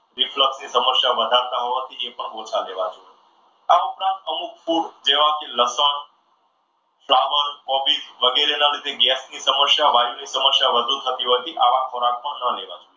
reflect ની સમસ્યા વધારે વધારતા હોવાથી એ પણ ઓછા લેવા જોઈએ. આ ઉપરાંત અમુક food જેવા કે લસણ સાવણ કોબીજ વગેરેના લીધે gas ની સમસ્યા, વાયુ ની સમસ્યા વધુ થતી હોવાથી આવા ખોરાક ન લેવા જોઈએ.